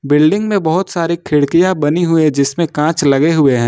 Building में बहोत सारी खिड़कियां बनी हुई है जिसमें कांच लगे हुए हैं।